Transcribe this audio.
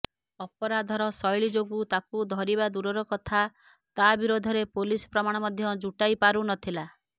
ଅପରାଧର ଶୈଳୀ ଯୋଗୁ ତାକୁ ଧରିବା ଦୂରର କଥା ତା ବିରୋଧରେ ପୋଲିସ ପ୍ରମାଣ ମଧ୍ୟ ଜୁଟାଇ ପାରୁନଥିଲା